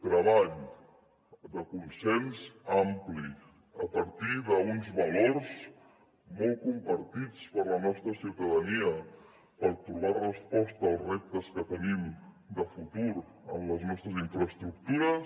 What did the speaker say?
treball de consens ampli a partir d’uns valors molt compartits per la nostra ciutadania per trobar resposta als reptes que tenim de futur en les nostres infraestructures